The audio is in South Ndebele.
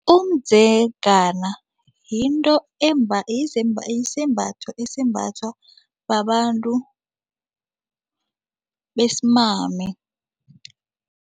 Umdzegana yinto yisembatho esimbathwa babantu besimame.